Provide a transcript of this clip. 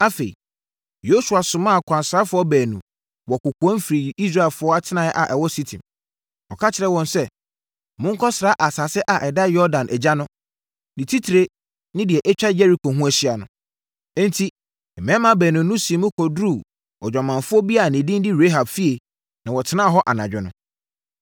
Afei, Yosua somaa akwansrafoɔ baanu wɔ kɔkoam firii Israelfoɔ atenaeɛ a ɛwɔ Sitim. Ɔka kyerɛɛ wɔn sɛ, “Monkɔsra asase a ɛda Yordan agya no, ne titire ne deɛ atwa Yeriko ho ahyia no.” Enti, mmarima baanu no sii mu kɔduruu odwamanfoɔ bi a ne din de Rahab fie na wɔtenaa hɔ anadwo no.